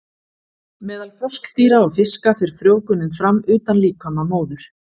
Meðal froskdýra og fiska fer frjóvgunin fram utan líkama móður.